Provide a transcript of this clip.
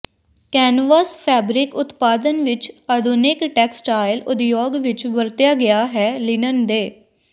canvas fabric ਉਤਪਾਦਨ ਵਿੱਚ ਆਧੁਨਿਕ ਟੈਕਸਟਾਈਲ ਉਦਯੋਗ ਵਿੱਚ ਵਰਤਿਆ ਗਿਆ ਹੈ ਲਿਨਨ ਦੇ